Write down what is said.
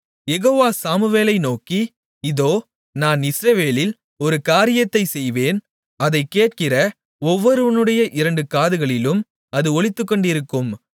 யெகோவா சாமுவேலை நோக்கி இதோ நான் இஸ்ரவேலில் ஒரு காரியத்தைச் செய்வேன் அதைக் கேட்கிற ஒவ்வொருவனுடைய இரண்டு காதுகளிலும் அது ஒலித்துக்கொண்டிருக்கும்